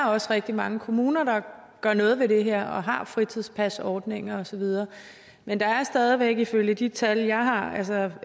også rigtig mange kommuner der gør noget ved det her og har fritidspasordninger og så videre men der er stadig væk ifølge de tal jeg har altså